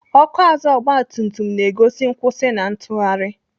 Ọkụ azụ ọgbatumtum na-egosi nkwụsị na ntụgharị.